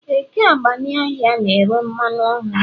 Eke agbani ahịa na-ere mmanụ ọhụrụ